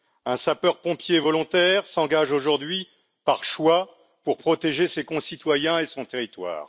Un sapeur pompier volontaire s'engage aujourd'hui par choix pour protéger ses concitoyens et son territoire.